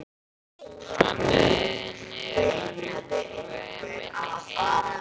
Hann hneig niður á rjúpnaveiðum inni í Heiði.